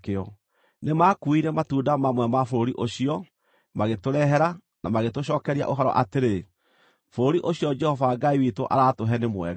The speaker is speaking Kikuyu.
Nĩmakuire matunda mamwe ma bũrũri ũcio, magĩtũrehere, na magĩtũcookeria ũhoro atĩrĩ, “Bũrũri ũcio Jehova Ngai witũ araatũhe nĩ mwega.”